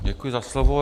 Děkuji za slovo.